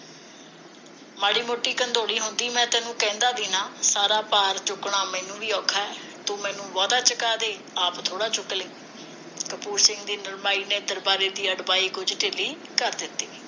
ਮਾੜੀ ਮੋਟੀ ਹੁੰਦੀ ਮੈਂ ਤੈਨੂੰ ਕਹਿੰਦਾ ਵੀ ਨਾ ਸਾਰਾ ਭਾਰ ਚੁੱਕਣਾ ਮੈਨੂੰ ਵੀ ਔਖਾ ਤੂੰ ਮੈਨੂੰ ਬਹੁਤਾ ਚੁੱਕਾ ਦੇ ਆਪ ਥੋੜਾ ਚੁੱਕ ਲੀ ਕਪੂਰ ਸਿੰਘ ਦੀ ਨਰਮਾਈ ਨੇ ਦਰਬਾਰੇ ਦੀ ਅੜਬਾਈ ਕੁਝ ਢਿੱਲੀ ਕਰ ਜਿੱਤੀ